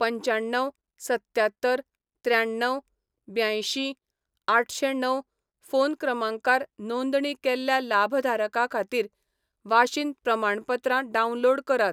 पंच्याण्णव सत्त्यात्तर त्र्याण्ण्व ब्यांयशीं आठशेंणव फोन क्रमांकार नोंदणी केल्ल्या लाभधारका खातीर वाशीन प्रमाणपत्रां डावनलोड करात.